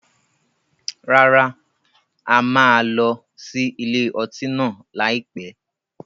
Rárá, a máa lọ sí ilé ọtí náà lai pẹ̀.